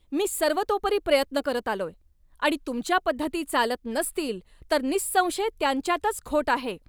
मी सर्वतोपरी प्रयत्न करत आलोय, आणि तुमच्या पद्धती चालत नसतील तर निसंशय त्यांच्यातच खोट आहे.